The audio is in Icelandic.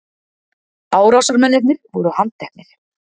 Árásarmennirnir voru handteknir